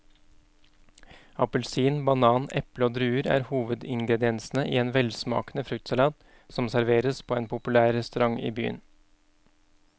Appelsin, banan, eple og druer er hovedingredienser i en velsmakende fruktsalat som serveres på en populær restaurant i byen.